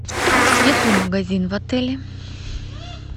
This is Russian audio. есть ли магазин в отеле